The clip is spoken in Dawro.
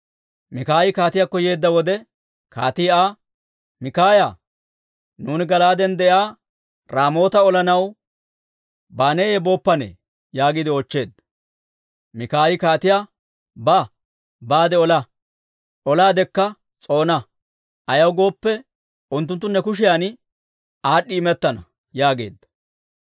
Mikaayi kaatiyaakko yeedda wode, kaatii Aa, «Mikaaya, nuuni Gala'aaden de'iyaa Raamoota olanaw baaneeyye booppane?» yaagiide oochcheedda. Mikaayi kaatiyaa, «Ba; baade ola; olaadekka s'oona. Ayaw gooppe, unttunttu ne kushiyan aad'd'i imettana» yaageedda.